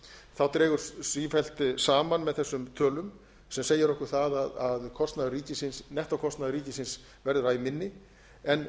þá dregur sífellt saman með þessum tölum sem segir okkur það að nettókostnaður ríkisins verður æ minni en